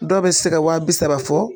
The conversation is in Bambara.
Dɔw bɛ se ka wa bi saba fɔ.